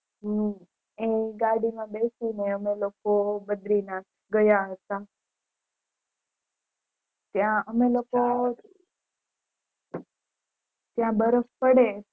હમ એ ગાડી માં બેસી ને અમે લોકો બદ્રીનાથ ગયા હતા ત્યાં અમે લોકો ત્યાં બરફ પડે